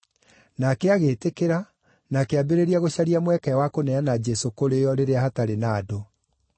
Nake agĩĩtĩkĩra, na akĩambĩrĩria gũcaria mweke wa kũneana Jesũ kũrĩ o rĩrĩa hatarĩ na andũ.